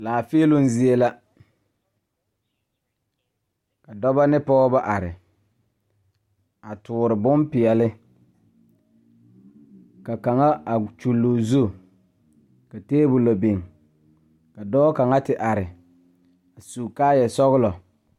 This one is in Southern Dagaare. Laafeeloŋ zie la ka dɔba ne pɔgeba are a toore bompeɛle ka kaŋa a kyulli o zu ka tabolɔ biŋ ka dɔɔ kaŋa te are su kaayasɔglɔ.